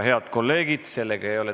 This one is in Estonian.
Head kolleegid!